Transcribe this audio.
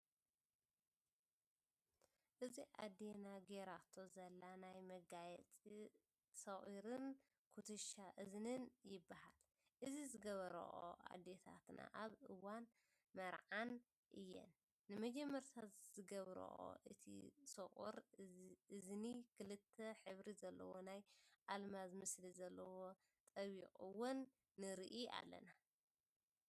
እዛ ኣዴና ጌራቶ ዘለና ናይ መጋየፂ ሰቒርን ኩትሻ እዝኒን ይባሃል። እዚ ዝገብርኦ አዴታትናኣብ እዋን መርዐዐን እየን ንመጀመርያ ዝገብርኦ። እቲ ሰቁር እዚኒ ክልተ ሕብሪ ዘለዎ ናይ ኣልማዝ ምስሊ ዘለዎ ጠቢቅዎን ንርኢ ኣለና።